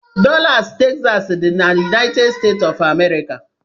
Dallas Texas dị na United States of America.